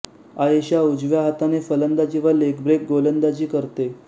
आयेशा उजव्या हाताने फलंदाजी व लेगब्रेक गोलंदाजी करते